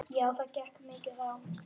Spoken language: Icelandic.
Já það gekk mikið á.